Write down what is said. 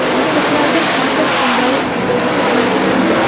maktablarda taʼtil kunlari quyidagicha belgilangan:.